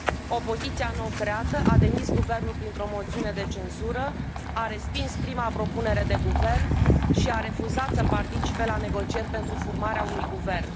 Opoziția nou creată a demis guvernul printr o moțiune de cenzură, a respins prima propunere de guvern și a refuzat să participe la negocieri pentru formarea unui guvern.